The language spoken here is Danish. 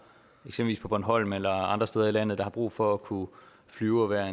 på bornholm eller andre steder i landet og som har brug for at kunne flyve og være